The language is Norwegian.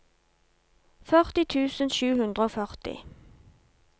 førti tusen sju hundre og førti